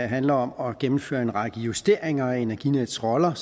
handler om at gennemføre en række justeringer af energinets roller